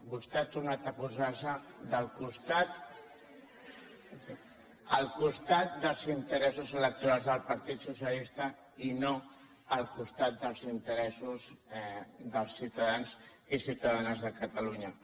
vostè ha tornat a posar se al costat dels interessos electorals del partit socialista i no al costat dels interessos dels ciutadans i ciutadanes de catalunya